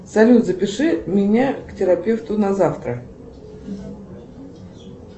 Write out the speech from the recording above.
салют запиши меня к терапевту на завтра